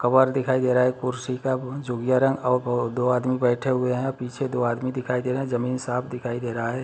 Cover देखाई दे रहा है कुर्सी का जोगिया रंग और दो आदमी बैठे हुए है पीछे दो आदमी दिखाए दे रहे है जमीन साफ दिखाई दे रहा है।